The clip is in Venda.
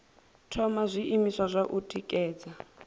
thoma zwiimiswa zwa u tikedza